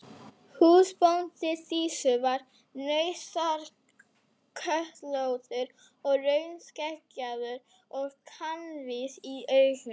Húsbóndi Dísu var nauðasköllóttur og rauðskeggjaður og kankvís í augum.